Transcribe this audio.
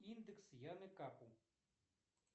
индекс яны капу